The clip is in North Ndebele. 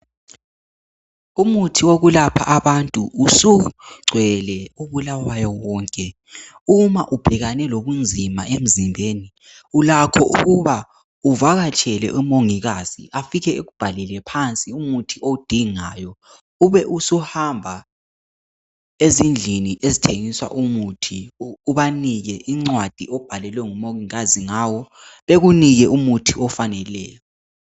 Umuthi wokuyalapha abantu usungcwele phose ndawo yonke uma ubhekane lobunzima emzimbeni ulakho ukuba uvakatshele umongikazi afike ekubhalele phansi umuthi owudingayo ube usuhamba ezindlini ezithengisa umuthi ubanike ingcwadi oyibhalelwe ngumongikazi bekunike umuthi ofaneyo